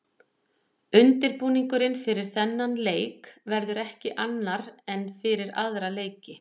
Undirbúningurinn fyrir þennan leik verður ekki annar en fyrir aðra leiki.